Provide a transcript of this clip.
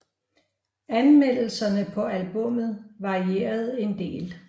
Anmeldelserne på albummet varierede en del